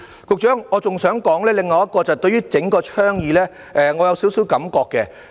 局長，我亦想說說我對整個倡議的少許感覺。